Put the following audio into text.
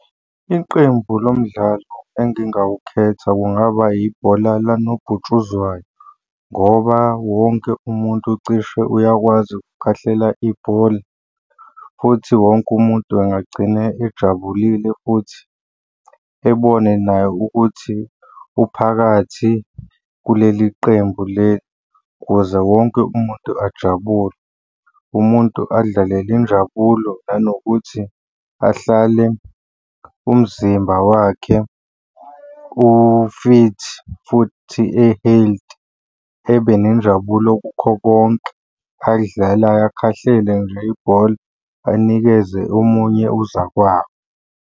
Iqembu lo mdlalo engingawukhetha kungaba ibhola likanobhutshuzwayo ngoba wonke umuntu cishe uyakwazi ukukhahlela ibhola, futhi wonke umuntu angagcina ejabulile futhi ebone naye ukuthi uphakathi kuleli qembu leli ukuze wonke umuntu ajabule. Umuntu alidlalele injabulo nanokuthi ahlale umzimba wakhe u-fit futhi e-healthy. Ebe nenjabulo kukho konke akudlalayo akhahlele nje ibhola, anikeze omunye uzakwabo.